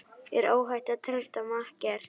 Er óhætt að treysta makker?